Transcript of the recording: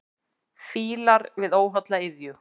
Fílar við óholla iðju.